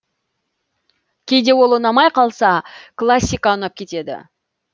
кейде ол ұнамай классика ұнап кетеді